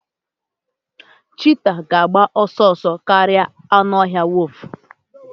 cheetah ga-agba ọsọ ọsọ karịa anụ ọhịa wolf